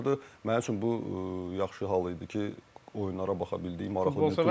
Mənim üçün bu yaxşı hal idi ki, oyunlara baxa bildik, maraqlı turnirlərə.